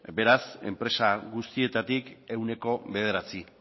beraz enpresa guztietatik ehuneko bederatzi